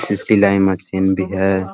इ सिलाई मशीन भी है ।